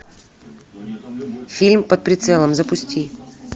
фильм под прицелом запусти